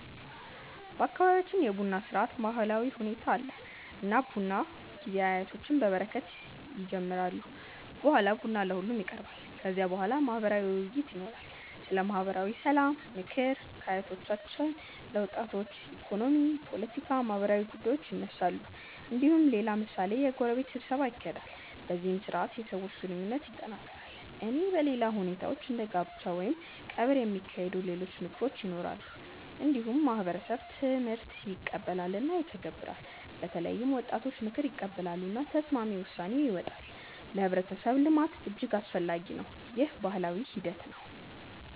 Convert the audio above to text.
በአካባቢያችን የቡና ስርዓት ባህላዊ ሁኔታ አለ። እና በቡና ጊዜ አያቶች በበረከት ይጀምራሉ። በኋላ ቡና ለሁሉም ይቀርባል። ከዚያ በኋላ ማህበራዊ ውይይት ይኖራል። ስለ ማህበራዊ ሰላም፣ ምክር ከአያቶች ለወጣቶች፣ ኢኮኖሚ፣ ፖለቲካ፣ ማህበራዊ ጉዳዮች ይነሳሉ። እንዲሁም ሌላ ምሳሌ የጎረቤት ስብሰባ ይካሄዳል። በዚህ ስርዓት የሰዎች ግንኙነት ይጠናከራል። እና በሌላ ሁኔታዎች እንደ ጋብቻ ወይም ቀብር የሚካሄዱ ሌሎች ምክክሮች ይኖራሉ። እንዲሁም ማህበረሰብ ትምህርት ይቀበላል እና ይተገበራል። በተለይም ወጣቶች ምክር ይቀበላሉ። እና ተስማሚ ውሳኔ ይወጣል። ለህብረተሰብ ልማት እጅግ አስፈላጊ ነው። ይህ ባህላዊ ሂደት ነው።